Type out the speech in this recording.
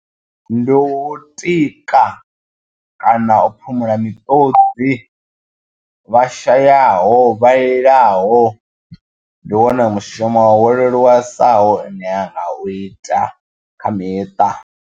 Ndi u tika kana u phumula miṱodzi vhashayaho vha lilaho ndi wone mushumo wo leluwesaho une ra u ita kha miṱa.